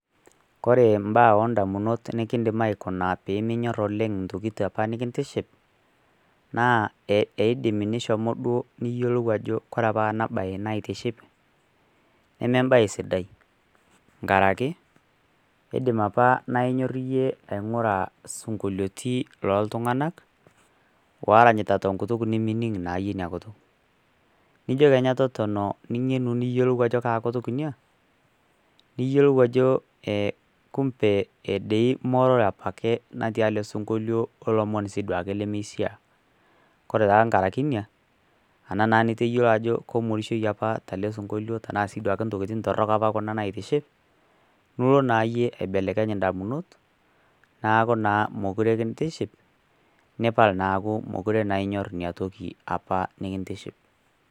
Kore imbaa o indamunot nikindim aikuna pee minyor oleng intokitin apa nekitiship, naa eidim nishomo duo niyolou ajo kore opa nabaiki naitiship, neme embae sidai nkaraki, eidim apa naa inyor aing'ura isinkoliotin loo iltung'anak ooranyita naa tenkutuk nemining' naa iyie ina kutuk, nijo kenya totona nijo ajo kaa kutuk ina niyiolou ajo dei kumbe ee dei morore dei apa ake natii ele sinkolio olomonb sii aake duo lemeishaa. Koree taa nkaraki inia, anaa niyiolou apa ajo kemorishoi tele sinkolio sii intokitin torok opa kuna nemaitiship, nilo naa iyie aibelekeny indamunot neaku naa mekure kintiship, nipal naa neaku mekure inyor ina toki apa nekintiship.